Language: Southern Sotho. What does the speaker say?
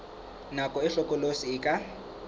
nako e hlokolosi e ka